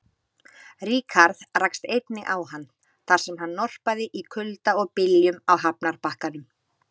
Ríkharð rakst einnig á hann, þar sem hann norpaði í kulda og byljum á hafnarbakkanum.